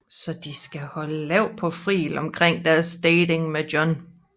Så de skal holde lav profil omkring deres dating med John